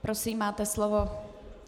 Prosím, máte slovo.